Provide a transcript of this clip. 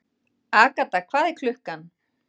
Agatha, hvað er klukkan?